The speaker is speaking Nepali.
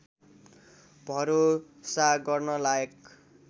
भरोसा गर्न लायक